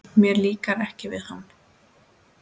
Mér líkar ekki við hana.